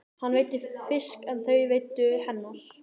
Hann veiddi fisk en þau veiddu humar.